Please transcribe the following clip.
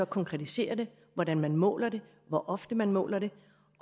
konkretiserer det hvordan man måler det hvor ofte man måler det